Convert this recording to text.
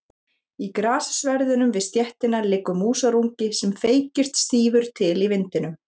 Í grassverðinum við stéttina liggur músarungi sem feykist stífur til í vindinum.